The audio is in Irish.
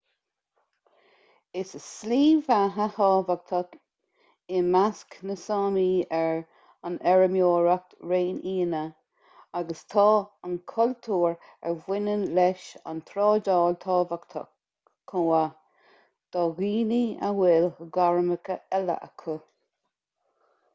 is slí bheatha thábhachtach i measc na sámi é an fheirmeoireacht réinfhianna agus tá an cultúr a bhaineann leis an trádáil tábhachtach chomh maith do dhaoine a bhfuil gairmeacha eile acu